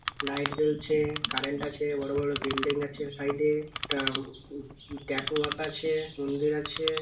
Light জ্বলছে current আছে। বড় বড় বিল্ডিং আছে। সাইডে । একটা উ ট্যাটু আকা আছে মন্দির আছে।